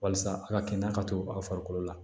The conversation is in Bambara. Walasa a ka kɛnɛya ka to aw farikolo la